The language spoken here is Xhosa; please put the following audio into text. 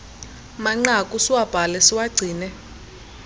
manqaku siwabhale siwagcine